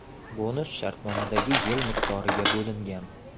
(Bonus shartnomadagi yil miqdoriga bo‘lingan.)